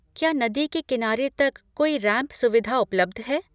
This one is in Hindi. क्या नदी के किनारे तक कोई रैंप सुविधा उपलब्ध है?